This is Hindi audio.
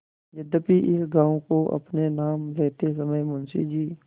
यद्यपि इस गॉँव को अपने नाम लेते समय मुंशी जी